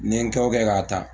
Nin kɛ o kɛ k'a ta